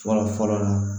Fɔlɔ fɔlɔ